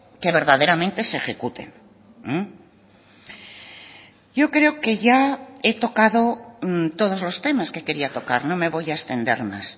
que verdaderamente se ejecuten yo creo que ya he tocado todos los temas que quería tocar no me voy a extender más